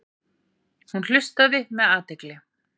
Hún hlustaði með athygli.